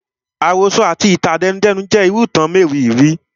Àròsọ àti itan àtẹnudẹ́nu jẹ́ irú ìtàn àkọọlẹ